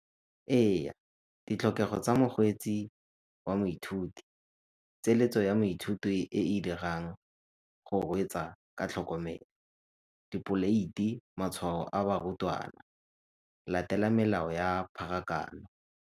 Eya, ditlhokego tsa mokgweetsi wa moithuti, ya maithuto e e dirang go reetsa ka tlhokomelo, dipoleiti, matshwao a barutwana, latela melao ya pharakano.